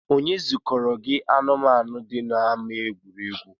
Onye zukọrọ gị anụmaanu dị n’ama egwuregwu?